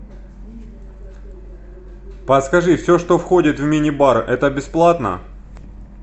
подскажи все что входит в мини бар это бесплатно